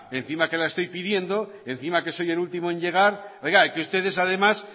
encima que la estoy pidiendo encima que soy el último en llegar es que ustedes además